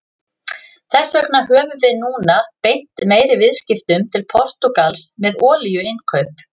Þess vegna höfum við núna beint meiri viðskiptum til Portúgals með olíuinnkaup.